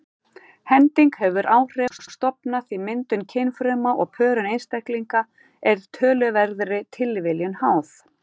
Hending hefur áhrif á stofna því myndun kynfruma og pörun einstaklinga er töluverðri tilviljun háð.